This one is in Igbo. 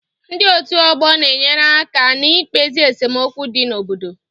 Ndị otu ọgbọ na-enyere aka n'ikpezi esemokwu dị n'obodo